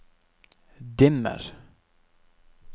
dimmer